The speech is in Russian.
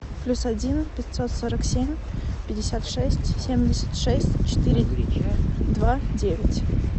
плюс один пятьсот сорок семь пятьдесят шесть семьдесят шесть четыре два девять